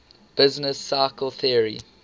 business cycle theory